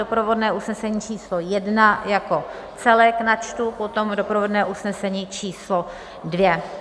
Doprovodné usnesení číslo jedna jako celek načtu, potom doprovodné usnesení číslo dvě.